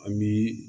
An bi